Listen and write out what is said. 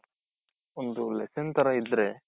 ಒಂದು lesson ತರ ಇದ್ರೆ.